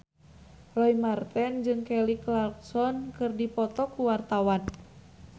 Roy Marten jeung Kelly Clarkson keur dipoto ku wartawan